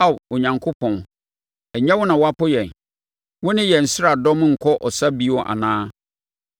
Ao Onyankopɔn, ɛnyɛ wo na woapo yɛn? Wo ne yɛn nsraadɔm renkɔ ɔsa bio anaa?